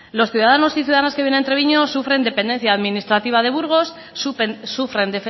los ciudadanos y ciudadanas que viven en treviño sufren dependencia administrativa de burgos sufren